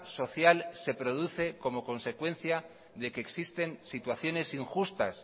social se produce como consecuencia de que existen situaciones injustas